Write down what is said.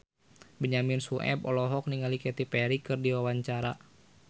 Benyamin Sueb olohok ningali Katy Perry keur diwawancara